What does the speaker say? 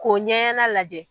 Ko ɲɛ ɲɛna lajɛ.